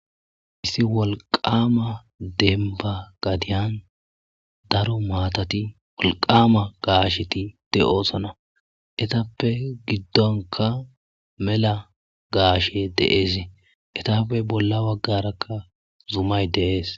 Issi wolqqaama dembba gadiyan daro maathathi wolqqaama gaashethi de7oosona;ethappe giddonkka mela gaashee de7eezi;ethape bolla baggaarakka zumay de7ees.